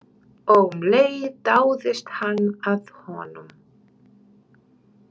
Og um leið dáðist hann að honum.